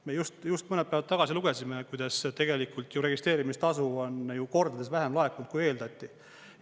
Me just mõned päevad tagasi lugesime, kuidas tegelikult ju registreerimistasu on kordades vähem laekunud, kui eeldati.